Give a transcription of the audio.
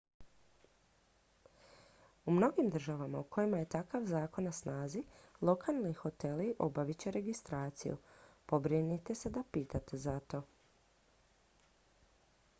u mnogim državama u kojima je takav zakon na snazi lokalni hoteli obavit će registraciju pobrinite se da pitate za to